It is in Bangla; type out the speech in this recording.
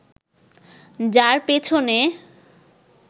যার পেছনে